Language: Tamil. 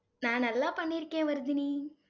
நான் நல்லா பண்ணியிருக்கேன் வர்தினி.